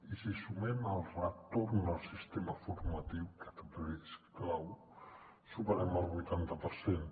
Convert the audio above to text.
i si sumem el retorn al sistema formatiu que també és clau superem el vuitanta per cent